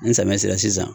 N sɛmɛn sera sisan